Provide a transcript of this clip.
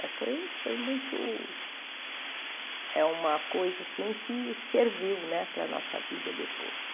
Mas foi foi muito... É uma coisa assim que serviu né para a nossa vida depois.